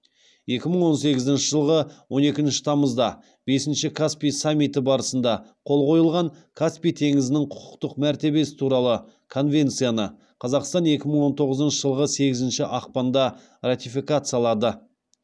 екі мың он сегізінші жылғы он екінші тамызда бесінші каспий саммиті барысында қол қойылған каспий теңізінің құқықтық мәртебесі туралы конвенцияны қазақстан екі мың он тоғызыншы жылғы сегізінші ақпанда ратификациялады